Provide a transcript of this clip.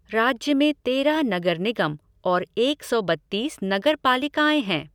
राज्य में तेरह नगर निगम और एक सौ बत्तीस नगरपालिकाएँ हैं।